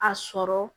A sɔrɔ